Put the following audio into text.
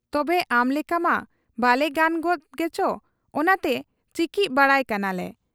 ᱛᱚᱵᱮ ᱟᱢᱞᱮᱠᱟᱢᱟ ᱵᱟᱞᱮ ᱜᱟᱱ ᱜᱚᱫᱽ ᱜᱮᱪᱚ ᱚᱱᱟᱛᱮ ᱪᱤᱠᱤᱡ ᱵᱟᱲᱟᱭ ᱠᱟᱱᱟᱞᱮ ᱾